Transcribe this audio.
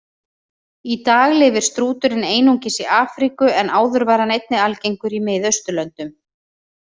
Í dag lifir strúturinn einungis í Afríku en áður var hann einnig algengur í Miðausturlöndum.